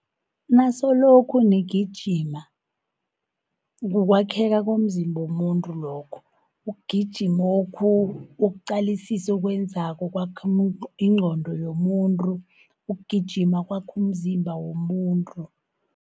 Nasolokho nigijima kukwakheka komzimba womuntu lokho, ukugijimokhu, ukuqalisisa okwenzako kwakha ingqondo yomuntu. Ukugijima kwakha umzimba womuntu.